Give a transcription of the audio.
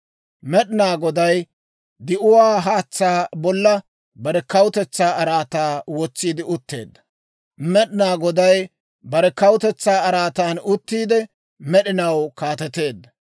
Med'inaa Goday di'uwaa haatsaa bolla bare kawutetsaa araataa wotsiide utteedda; Med'inaa Goday bare kawutetsaa araatan uttiide, med'inaw kaateteedda.